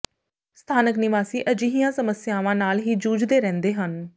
ਸਥਾਨਕ ਨਿਵਾਸੀ ਅਜਿਹੀਆਂ ਸਮੱਸਿਆਵਾਂ ਨਾਲ ਹੀ ਜੂਝਦੇ ਰਹਿੰਦੇ ਹਨ